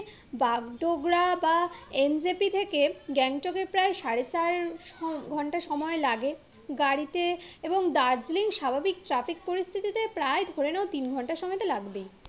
বাগডোগরা বা N J P থেকে গ্যাংটকের প্রায় সাড়ে চার ঘন্টা সময় লাগে, গাড়িতে এবং দার্জিলিং স্বাভাবিক ট্রাফিক পরিস্থিতিতে প্রায় ধরে নাও তিন ঘন্টা সময় তো লাগবেই